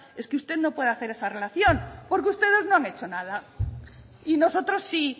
es que usted no pueda hacer es relación porque ustedes no han hecho y nosotros sí